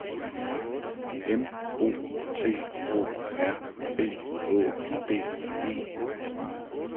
M O T O R B Å D E